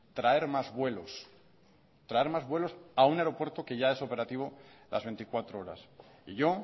traer más vuelos traer más vuelos a un aeropuerto que ya es operativo las veinticuatro horas yo